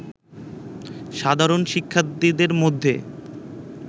সাধারণ শিক্ষার্থীদের মধ্যে